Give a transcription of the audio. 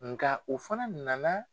Nka u fana nana.